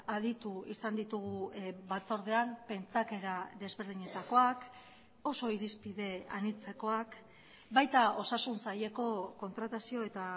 aditu izan ditugu batzordean pentsakera desberdinetakoak oso irizpide anitzekoak baita osasun saileko kontratazio eta